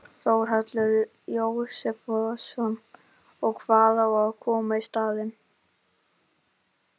Þórhallur Jósefsson: Og hvað á að koma í staðinn?